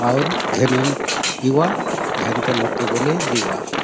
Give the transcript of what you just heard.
आउर गेनुक एउआत गेनतो लोक के बले देहुआत।